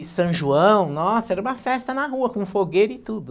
E São João, nossa, era uma festa na rua, com fogueira e tudo.